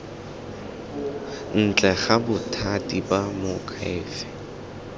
ntle ga bothati ba moakhaefe